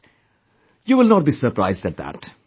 Of course, you will not be surprised at that